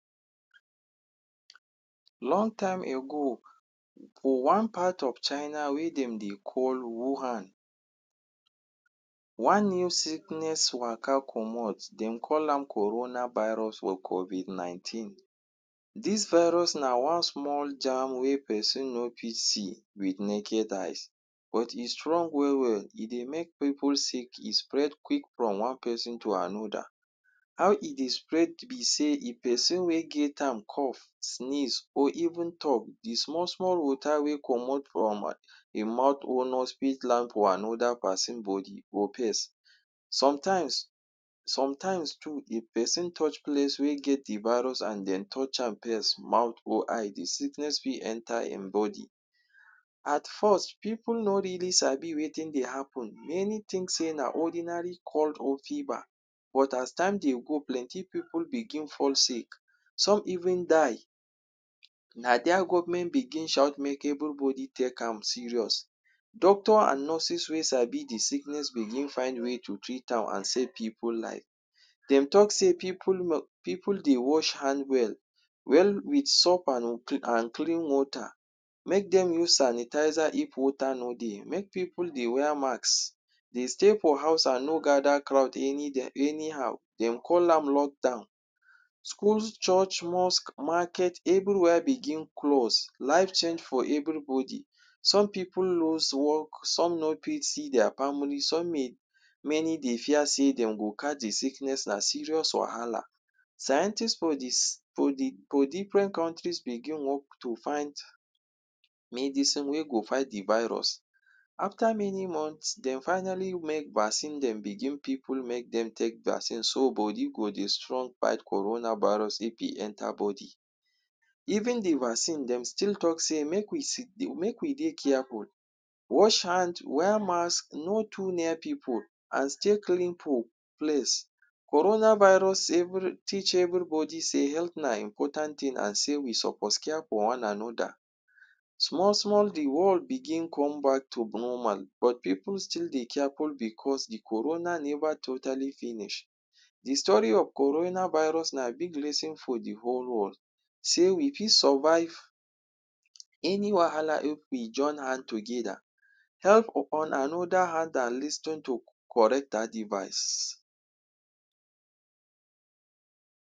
Long time ago for one part of China wey dem dey call Wuhan one new sickness waka comot, dem call am coronal virus or covid nineteen. Dis virus na one small germ wey pesin no fit see with naked eyes but e strong well well. E dey make pipu sick. E spread quick from one pesin to another. How e dey spread be sey if pesin wey get am cough, sneeze or even talk, the small small water wey comot from im mouth or nose fit land for another pesin body or pace. Sometimes sometimes too if pesin touch place wey get the virus and den touch am pirst mouth or eye, the sickness fit enter e body. At first pipu no really sabi wetin dey happen. Many think sey na ordinary cough or fever but as time dey go, plenty pipu begin fall sick. Some even die. Na dere government begin shout, make everybody take am serious. Doctors and nurses wey sabi the sickness begin find way to treat am and save pipu life. Dem talk sey pipu pipu dey wash hand well, well with soap and clean water. Make dem use sanitizer if water no dey. Make pipu dey wear mask, dey stay for house and no gather crowd any day anyhow. De call am lockdown. Schools, church, mosque, market everywhere begin close. Life change for everybody. Some pipu lose work, some no pit see their family, some may many dey fear sey de go catch the sickness. Na serious wahala. Scientist for for the for different countries begin work to find medicine wey go fight the virus. After many months, dem finally make vaccine dem begin pipu make dem take vaccine so, body go dey strong pass coronal virus if e enter body. Even the vaccine, dem still talk say make we sit make we dey careful. Wash hands, wear mask, no too near pipu and stay clean from place. Coronal virus every teach everybody sey health na important thing and sey we suppose care for one another. Small small, the world begin come back to normal but pipu still dey careful because the coronal never totally finish. The story of coronal virus na big lesson for the whole world. Sey we fit survive any wahala if we join hand together held upon another hand and lis ten to correct adivice.